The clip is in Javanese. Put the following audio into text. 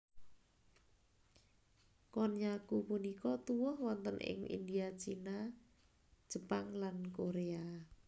Konnyaku punika tuwuh wonten ing India Cina Jepang lan Korea